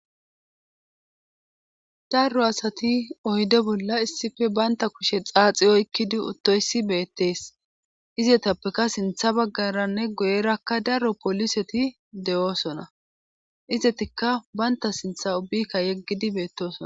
darro asati oyde bolla issife baynta kushe xaaxi oykkidi uttoysi beettees izetappeka sintha baggaranne goyerakka darro poliseti de7oosona izetikka baynta sintha ubbikka yeggidi beettosona